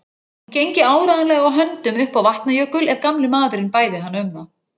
Hún gengi áreiðanlega á höndum upp á Vatnajökul ef gamli maðurinn bæði hana um það.